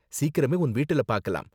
சீக்கிரமே உன் வீட்டுல பார்க்கலாம்.